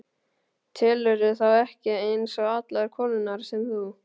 Telurðu þá ekki eins og allar konurnar sem þú?